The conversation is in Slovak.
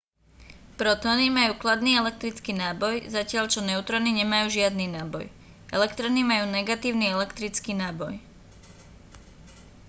protóny majú kladný elektrický náboj zatiaľ čo neutróny nemajú žiadny náboj elektróny majú negatívny elektrický náboj